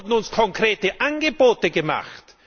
Es wurden uns konkrete Angebote gemacht!